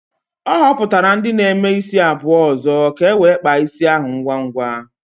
O hopụtara ndi na-eme isi abuo ozo ka e nwee kpaa isi ahu ngwa ngwa